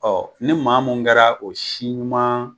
ni maa mun kɛra o si ɲuman